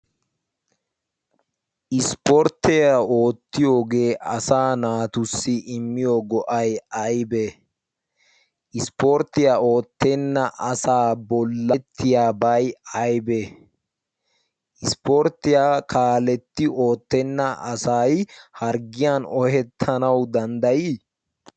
ispporttiyaa oottiyoogee asa naatussi immiyo go7ai aibee ?ispporttiyaa oottenna asaa bollaettiyaa bai aibee? ispporttiyaa kaaletti oottenna asai harggiyan ohettanau danddayii?